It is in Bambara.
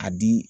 A di